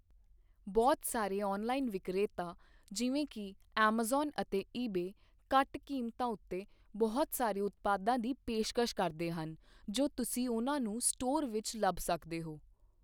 ਬਹੁਤ ਸਾਰੇ ਔਨਲਾਈਨ ਵਿਕਰੇਤਾ, ਜਿਵੇਂ ਕਿ ਐਮਾਜ਼ਾਨ ਅਤੇ ਈਬੇ, ਘੱਟ ਕੀਮਤਾਂ ਉੱਤੇ ਬਹੁਤ ਸਾਰੇ ਉਤਪਾਦਾਂ ਦੀ ਪੇਸ਼ਕਸ਼ ਕਰਦੇ ਹਨ ਜੋ ਤੁਸੀਂ ਉਹਨਾਂ ਨੂੰ ਸਟੋਰ ਵਿੱਚ ਲੱਭ ਸਕਦੇ ਹੋ।